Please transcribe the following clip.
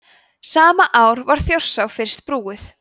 sama ár var þjórsá fyrst brúuð